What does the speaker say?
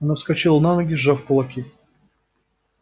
она вскочила на ноги сжав кулаки